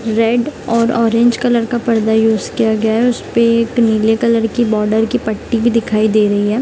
Red और orange colour का पर्दा यूज किया गया है उस पे एक नीले कलर की बॉर्डर की पट्टी भी दिखाई दे रही है।